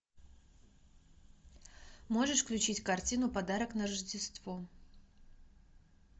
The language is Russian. можешь включить картину подарок на рождество